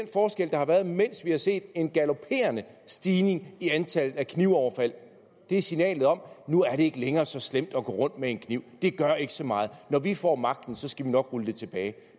forskel der har været mens vi har set en galoperende stigning i antallet af knivoverfald det er signalet om at nu er det ikke længere så slemt at gå rundt med en kniv det gør ikke så meget og når vi får magten så skal vi nok rulle det tilbage